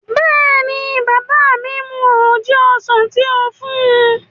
Bẹ́ẹ̀ni, bàbá mi mu oje ọsàn tí ó fún un